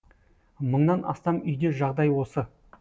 мыңнан астам үйде жағдай осы